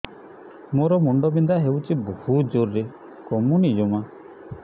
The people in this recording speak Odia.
ମୋର ମୁଣ୍ଡ ବିନ୍ଧା ହଉଛି ବହୁତ ଜୋରରେ କମୁନି ଜମା